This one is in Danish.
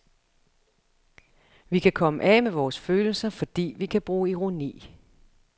Vi kan komme af med vores følelser, fordi vi kan bruge ironi.